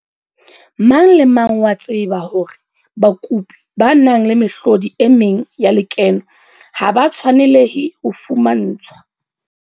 Mang le mang o a tseba hore bakopi ba nang le mehlodi e meng ya lekeno ha ba tshwanelehe ho fumantshwa